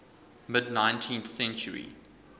mid nineteenth century